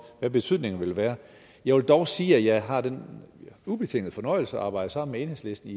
hvad betydningen vil være jeg vil dog sige at jeg har den ubetingede fornøjelse at arbejde sammen med enhedslisten